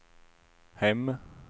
hem